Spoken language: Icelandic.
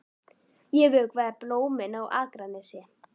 Ég vökvaði blómin á Akranesi.